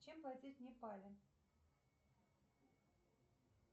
чем платить в непале